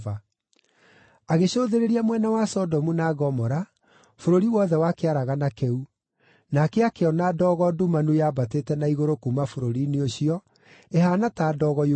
Agĩcũthĩrĩria mwena wa Sodomu na Gomora, bũrũri wothe wa kĩaragana kĩu, nake akĩona ndogo ndumanu yambatĩte na igũrũ kuuma bũrũri-inĩ ũcio, ĩhaana ta ndogo yumĩte icua-inĩ.